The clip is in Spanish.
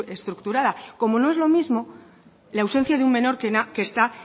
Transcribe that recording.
estructurada como no es lo mismo la ausencia de un menor que está